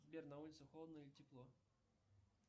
сбер на улице холодно или тепло